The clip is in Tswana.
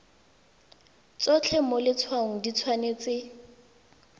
tsotlhe mo letshwaong di tshwanetse